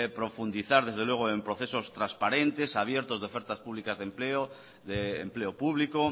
profundizar desde luego en procesos transparentes abiertos de ofertas públicas de empleo de empleo público